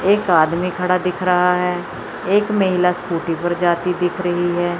एक आदमी खड़ा दिख रहा है एक महिला स्कूटी पर जाती दिख रही है।